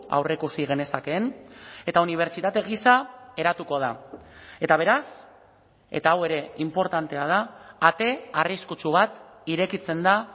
aurreikusi genezakeen eta unibertsitate gisa eratuko da eta beraz eta hau ere inportantea da ate arriskutsu bat irekitzen da